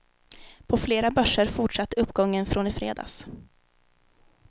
På flera börser fortsatte uppgången från i fredags.